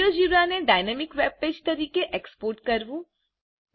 જીઓજીબ્રાને dynamic web page તરીકે export કરવું